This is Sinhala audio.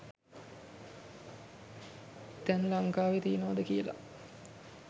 තැන් ලංකාවෙ තියනවද කියලා.